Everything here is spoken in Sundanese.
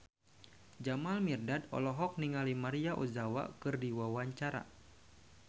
Jamal Mirdad olohok ningali Maria Ozawa keur diwawancara